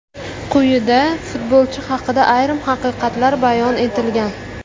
Quyida, futbolchi haqida ayrim haqiqatlar bayon etilgan.